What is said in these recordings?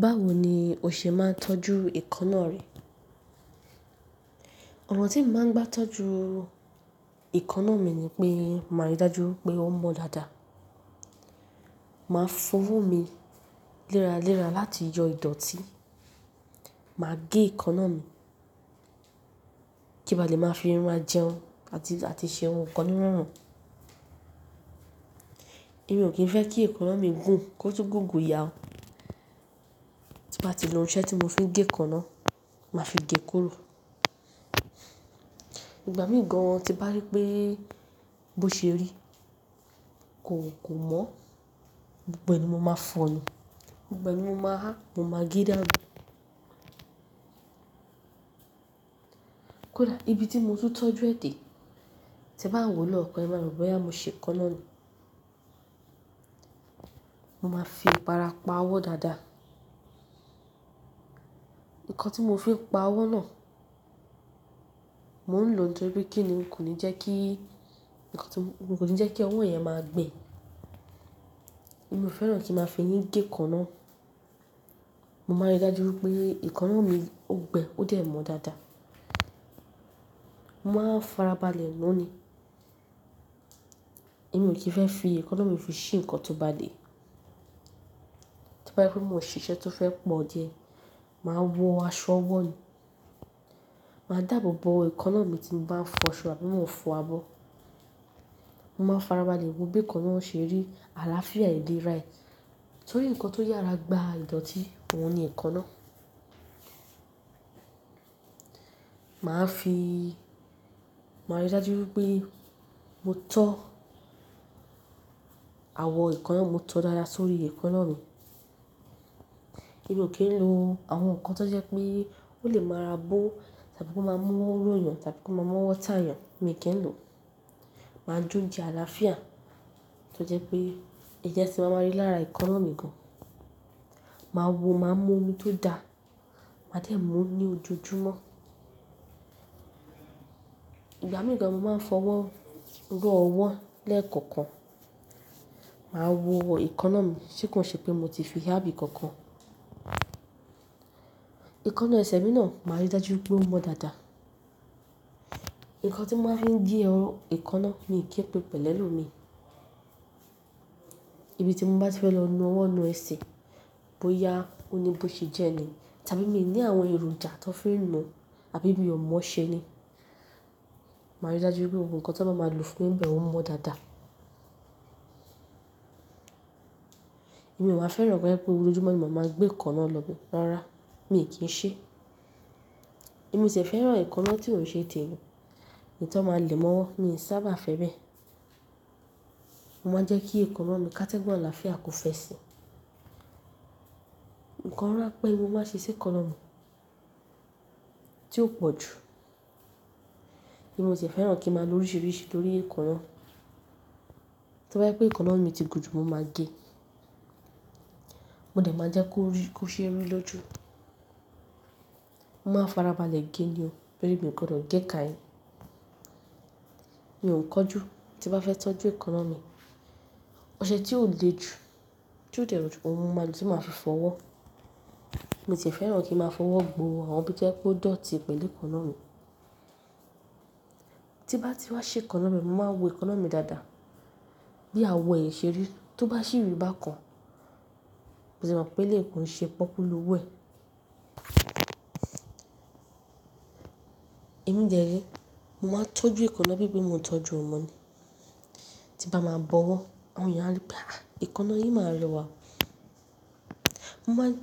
Báwo ni o ṣe máa ń tọ́jú èékúnà rẹ? Ọ̀nà tí mo máa ń gbá tọ́jú èékannà mi ni pé màá rí dájú pé ó mọ́ dáadáa. Màá fọwọ́ mi léraléra láti yọ ìdọ̀tí, màá gé èékannà mi kí n bá lè máa fi irun ma jẹun àti ṣe ohun kan nírọ̀run. Èmi ò kí ń fẹ́ kí èékannà mi gùn, kó tú gùn gùn ìyà ó. Tí màá ti lo ọṣẹ tí mo fi gé èékannà, màá fi gé kóró. Ìgbà míì gan an tí bá rí pé bó ṣe rí, kò mọ́, gbogbo ẹni mo máa fọ̀ọ́ nu gbogbo ẹ ni mo máa há, mo máa gé dáànu. Kódà ibi tí mo tun tọ́jú ẹ̀ dẹ̀, te bá wo mí lọ́ọ̀kan ẹ, máa rọ̀ bóyá mo ṣe èékannà ni. Mo máa fi iparà pa ọwọ́ dáadáa. Nkan tí mo fi pa ọwọ́ náà, mò ń lò ó torí kíni, kò ní jẹ́ kí ọwọ́ náà máa gbẹ. Èmi ò fẹ́ràn kí n máa fi eyín gé èékannà. Mo máa rí dájú pé èékannà mi ó gbẹ, ó dẹ̀ mọ́ dáadáa. Mò máa ń farabalẹ̀ nu ni. Èmi ò kí ń fẹ́ fi èékannà mi fi ṣí ǹkan tó bá le. Tí bá rí pé mo máa ṣe iṣẹ́ tó fẹ́ pọ̀ díẹ̀, màá wọ aṣọ ọwọ́ ni. Màá dàbọ̀bọ̀ èékannà mi tí mo bá ń fọ aṣọ àbí tí mo fọ abọ́. Mo máa farabalẹ̀ wo bí èékannà ṣe rí àlàáfíà ìlera rẹ. Nítorí ǹkan tó yára gba ìdọ̀tí, òun ni èékannà. Màá fi, màá rí dájú pé mo tọ́ awo èékannà, mo tọọ dáadáa sórí èékannà mi. Èmi ò kí ń lo àwọn nǹkan tó jẹ́ pé ó lè máa ra bó tàbí kó máa mú ọwọ́ róyan tàbí kó máa mú ọwọ́ ta èyàn, èmi ò kí ń lò. Màá jóunjẹ àlàáfíà tó jẹ́ pé ẹ̀jẹ̀ tí màá máa rí lára èékúnà mi gan. Màá wo, màá mú omi tó dáa, màá dẹ̀ mú ní ojoojúmọ́. Ìgbà míì gan an, mo màá fọwọ́ ró ọwọ́ lẹ́ẹ̀kọ̀kan. Màá wo èékannà mi, ṣé kò ń ṣe pé mo ti fi háàbí kankan. Èékúnà ẹsẹ̀ mi náà, màá rí dájú pé ó mọ́ dáadáa. Nkan tí màá fi ń gé èékannà mi kì í pín pẹ̀lù elomi. Ibi tí mo bá ti fẹ́ lọ nu ọwọ́ nu ẹsẹ̀, bóyá ó ní bó ṣe jẹ́ ni tàbí mi ò ní àwọn èròjà tan fi ń nu àbí bí ọ mọ ṣe ni, màá rí dájú pé gbogbo ohun kan tan bá máa lo fún mi bẹ́ẹ̀, ó mọ́ dáadáa. Èmi ò wáa fẹ́ràn koje pé lójoojúmọ́ ni màá máa gbé èékannà lọ́be rárá, mi ò kí ń ṣe. Èmi tì e fẹ́ràn èékannà tí ò ṣe tẹmi, èyí tan máa le mọ́ ọwọ́, mi ò sábà fẹ́ bẹ́ẹ̀. Mo máa jẹ́ kí èékannà mi kátẹ́gun àlàáfíà kò fẹ́ sì. Ǹkan rán pé mo má ṣe ṣe èékannà mi tí ó pọ̀ jù, èmi ò tì e fẹ́ràn kí ń máa lọ̀ríṣìíríṣìí torí èékannà. Tó bá jẹ́ pé èékannà mi ti gùn jù, mo máa gé. Mo dẹ̀ máa jẹ́ kó ṣe ẹ ri lójú. Mo máa ń farabalẹ̀ gé ni o, torí mi o gbòdọ́ gé ka yìí. Mi ò ń kánjú tí n bá fẹ́ tọ́jú èékannà mi. Oṣẹ tí ò le ju, tí ó dé rọjú, òun ni mo màá lo tí maa fi fọwọ́. Mi tì e fẹ́ràn kí n máa fọwọ́ gbo àwọn ibi tó bá jẹ́ pé ó dọ̀tí pẹ̀lú èékannà mi. Tí bá ti wá ṣe èékannà mi, mo máa wo èékannà mi dáadáa. Bí awo ẹ ṣe rí, tó bá ṣi rì bákan, mo tì mọ̀ pé éleyi kò ń ṣe pọ́okù lọ́wọ́ ẹ̀. Èmi dẹ̀ re, mo máa ń tọ́jú èékannà bí pé mo ń tọ́jú ọmọ ni. Tí bá máa bọwọ́, àwọn èèyàn á ripé, "Àì èékannà yìí máa rẹwà."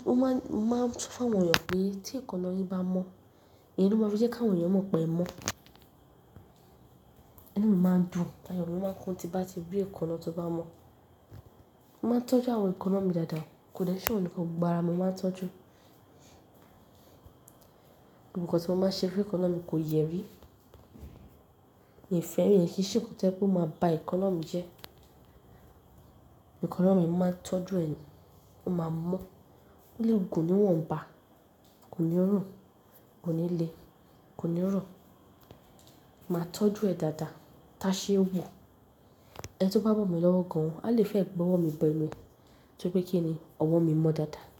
Mo máa ń sọ fún àwọn èèyàn pé tí èékannà yìí bá mọ́, èyí ló máa fi jẹ́ kí àwọn èèyàn mọ̀ pé ẹ̀ mọ́. Ìni mi máa ń dùn, àyọ̀ mi máa ń kún tí bá ti bí èékannà tó bá mọ́. Mo máa ń tọ́jú àwọn èékannà mi dáadáa, kò dẹ́ n ṣẹ́ ohun nìkan gbogbo ara mi, mo máa ń tọ́jú. Ohun kan tí mo máa ń ṣe fún èékannà mi kò yẹrí, mi ò fẹ́ràn iyẹn kì í ṣe nǹkan tí o jẹ́ pé ó máa ba èékannà mi jẹ́. Èékannà mi, mo ń màá tọ́jú ẹ ni, ó máa mọ́ o lé gùn ni wọ́nba, kò ní rùn, kò ní le, kò ní rọ̀. Màá tọ́jú ẹ dáadáa táṣẹ́ wò. Ẹni tó bá bọ̀mi lọ́wọ́ gan an, a lè fẹ́ gbe ọwọ́ mi bẹnu torí pé kíni ọwọ́ mi mọ́ dáadáa.